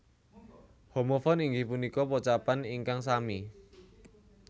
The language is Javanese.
Homofon inggih punika pocapan ingkang sami